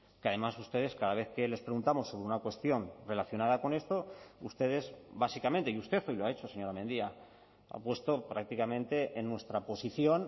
que además ustedes cada vez que les preguntamos sobre una cuestión relacionada con esto ustedes básicamente y usted hoy lo ha hecho señora mendia ha puesto prácticamente en nuestra posición